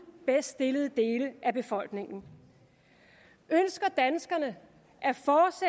bedst stillede dele af befolkningen ønsker danskerne